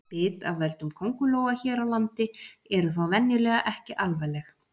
Bit af völdum köngulóa hér á landi eru þó venjulega ekki alvarleg.